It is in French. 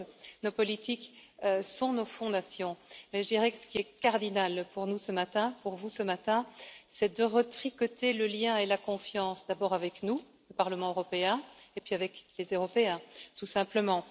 Certes, nos politiques sont nos fondations mais je dirais que ce qui est cardinal pour nous, ce matin, pour vous, ce matin, c'est de retricoter le lien et la confiance, d'abord avec nous, Parlement européen, et puis avec les Européens, tout simplement.